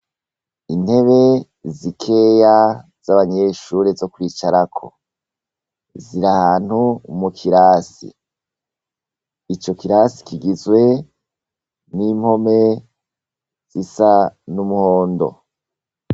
Intebe zikeya z'abanyeshure zo kwicarako. Ziriri ahantu mu kirasi, ico kirasi kigizwe n'impome zisa n'umuhondo.